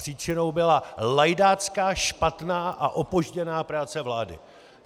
Příčinou byla lajdácká, špatná a opožděná práce vlády!